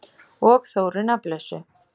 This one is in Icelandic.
Og Þóru nafnlausu.